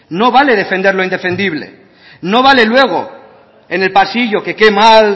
no vale defender lo indefendible no vale luego en el pasillo que que mal